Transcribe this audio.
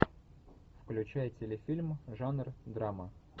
включай телефильм жанр драма